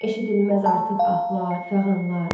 Eşidilməz artıq ahlar, fəğanlar.